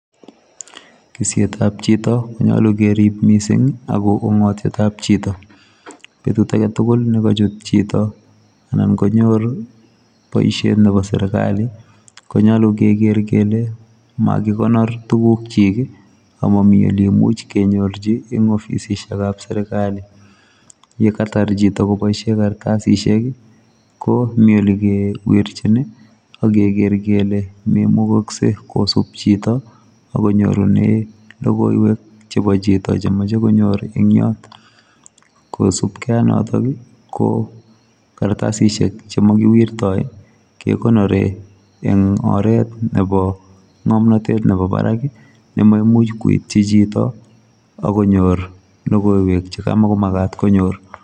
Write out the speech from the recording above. Kisiet ab chitoo ko nyaluu kerib missing ako ungatiet ab chitoo, betut age tugull nekachuut anan konyoor boisiet ab serikali konyaluu ke geer kole makikonor tuguuk kyiik maamuuch kenyoorjiin en offisiek ab serikali, ye kaitaar chitoo kebaisheen kasisiek ko Mii ole kewirjiin ii age ker kele maimukaksei kosiip chitoo akonyoorunei logoiywek chebo chitoo chemachei konyoor eny Yoon kosupkei ak notoon ii ko kartasisiek che makiwirtai ii kegonoreei eng oret nebo ngamnatet nebo barak ii neimamuuch koityi chitoo agonyoor logoiywek che kamakomakaat konyoor.